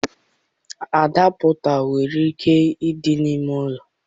Adapụta nwere ike ịdị n'ime ụlọ